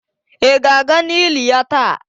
Ị ga-aga n'ili ya taa?